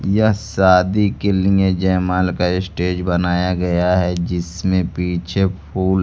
यह शादी के लिए जय माल का स्टेज बनाया गया है जिसमें पीछे फूल--